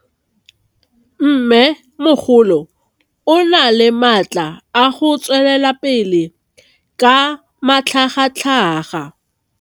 Mmêmogolo o na le matla a go tswelela pele ka matlhagatlhaga.